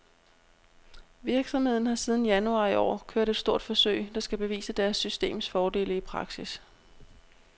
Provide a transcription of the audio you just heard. Virksomheden har siden januar i år kørt et stort forsøg, der skal bevise deres systems fordele i praksis.